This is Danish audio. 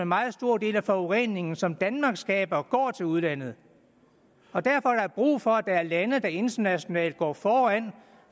meget stor del af forureningen som danmark skaber går til udlandet og derfor er der brug for at der er lande der internationalt går foran